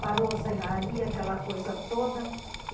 Parou a serraria, aquela coisa toda.